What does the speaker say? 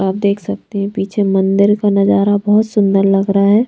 आप देख सकते हैं पीछे मंदिर का नजारा बहोत सुंदर लग रहा है।